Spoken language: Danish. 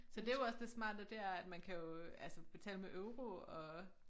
Så det jo også det smarte det er at man kan jo altså betale med euro og